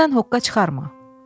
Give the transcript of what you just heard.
Özündən hoqqa çıxarma.